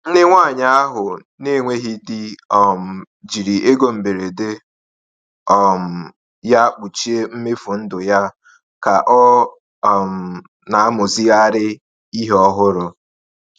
Nne nwanyị ahụ na-enweghị di um jiri ego mberede um ya kpuchie mmefu ndụ ya ka ọ um na-amụzigharị ihe ọhụrụ.